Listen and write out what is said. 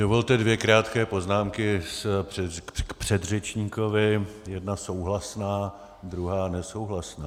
Dovolte dvě krátké poznámky k předřečníkovi, jedna souhlasná, druhá nesouhlasná.